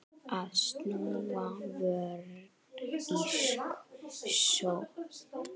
Að snúa vörn í sókn.